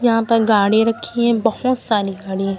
यहां पर गाड़ी रखी हैं बहुत सारी गाड़ी हैं।